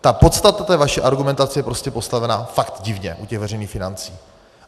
Ale podstata té vaší argumentace je prostě postavená fakt divně u těch veřejných financí.